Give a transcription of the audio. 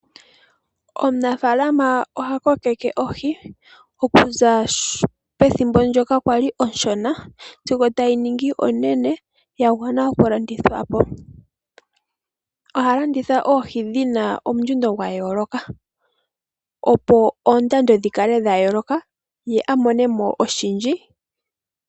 Omunafalama oha kokeke ohi okuza pethimbo ndyoka kwali onshona sigo tayi ningi onene yagwana okulandithwapo. Oha landitha oohi dhina omundjundo gwa yooloka opo oondando dhikale dha yooloka ye amonemo oshindji.